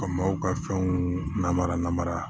Ka maaw ka fɛnw namara namara